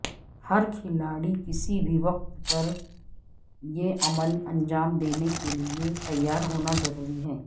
ہر کھلاڑی کسی بھی وقت یہ عمل انجام دینے کے لئے تیار ہونا ضروری ہے